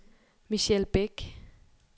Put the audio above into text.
Michelle Bæk